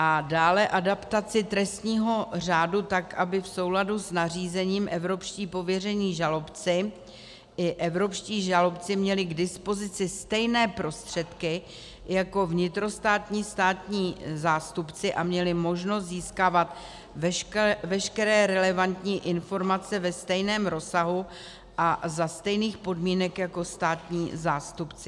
A dále adaptaci trestního řádu tak, aby v souladu s nařízením evropští pověření žalobci i evropští žalobci měli k dispozici stejné prostředky jako vnitrostátní státní zástupci a měli možnost získávat veškeré relevantní informace ve stejném rozsahu a za stejných podmínek jako státní zástupci.